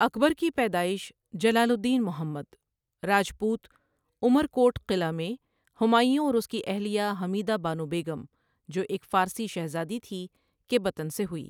اکبر کی پیدائش جلال الدین محمد، راجپوت عمرکوٹ قلعہ میں ہمایوں اور اس کی اہلیہ حمیدہ بانو بیگم، جو ایک فارسی شہزادی تھی، کے بطن سے ہوئی۔